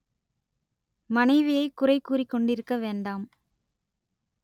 மனைவியைக் குறைக் கூறிக் கொண்டிருக்க வேண்டாம்